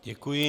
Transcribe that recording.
Děkuji.